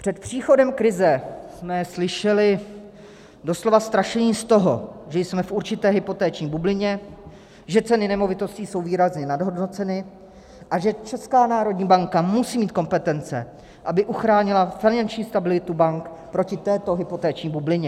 Před příchodem krize jsme slyšeli doslova strašení z toho, že jsme v určité hypoteční bublině, že ceny nemovitostí jsou výrazně nadhodnoceny a že Česká národní banka musí mít kompetence, aby uchránila finanční stabilitu bank proti této hypoteční bublině.